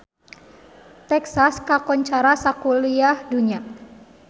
Texas kakoncara sakuliah dunya